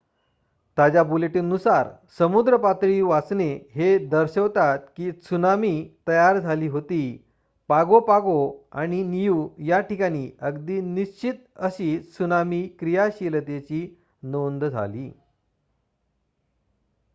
ताज्या बुलेटीन नुसार समुद्र पातळी वाचने हे दर्शवतात की त्सुनामी तयार झाली होती पागो पागो आणि नियू या ठिकाणी अगदी निश्चित अशी त्सुनामी क्रियाशीलतेची नोंद झाली